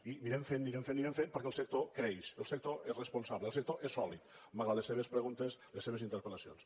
i anirem fent anirem fent anirem fent perquè el sector creix el sector és responsable el sector és sòlid malgrat les seves preguntes les seves interpellacions